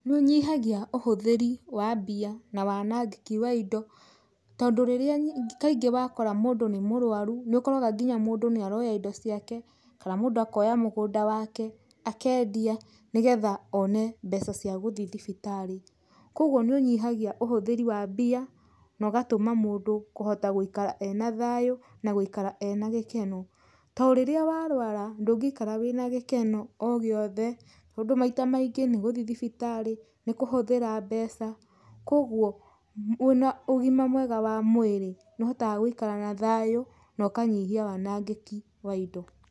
Nĩ ũnyihagia ũhũthĩri wa mbia na wanangĩki wa indo, tondũ rĩrĩa kaingĩ wakora mũndũ nĩ mũrũaru nĩ ũkoraga nginya mũndũ nĩ aroya indo ciake, kana mũndũ akoya mũgũnda wake akendia nĩgetha one mbeca cia gũthiĩ thibitarĩ. Kogwo nĩ ũnyihagia ũhũthĩrĩ wa mbia, na ũgatũma mũndũ kũhota gũikara ena thayũ na gũikara ena gĩkeno. To rĩrĩa warũara, ndũngĩikara wĩna gĩkeno o gĩothe, tondũ maita maingĩ nĩ gũthiĩ thibitarĩ, nĩ kũhũthĩra mbeca, kogwo wĩna ũgima mwega wa mwĩrĩ nĩ ũhotaga gũikara na thayũ na ũkanyihia wanangĩki wa indo.